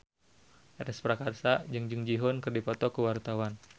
Ernest Prakasa jeung Jung Ji Hoon keur dipoto ku wartawan